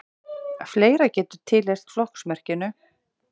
fleira getur tilheyrt flokksmerkinu